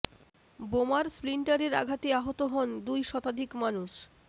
বোমার স্প্লিন্টারের আঘাতে আহত হন দুই শতাধিক মানুষ